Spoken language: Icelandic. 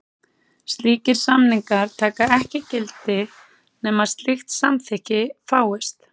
Slíkir samningar taka ekki gildi nema slíkt samþykki fáist.